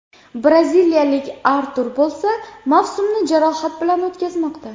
Braziliyalik Artur bo‘lsa, mavsumni jarohat bilan o‘tkazmoqda.